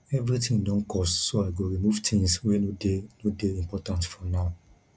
everything don cost so i go remove things wey no dey no dey important for now